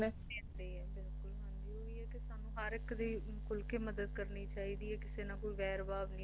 ਦਿੰਦੇ ਹੈ ਬਿਲਕੁਲ ਓਹੀ ਹੈ ਕਿ ਸਾਨੂੰ ਹਰ ਇੱਕ ਦੀ ਖੁੱਲ ਕੇ ਮਦਦ ਕਰਨੀ ਚਾਹੀਦੀ ਕਿਸੇ ਨਾਲ ਕੋਈ ਵੈਰ ਭਾਵ ਨਹੀਂ ਵੈਰ ਨਹੀਂ ਰੱਖਣਾ ਚਾਹੀਦਾ